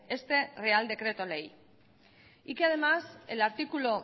este real decreto ley y que además el artículo